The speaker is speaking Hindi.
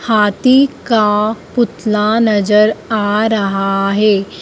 हाथी का पुतला नजर आ रहा है।